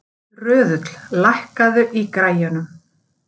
Röðull, lækkaðu í græjunum.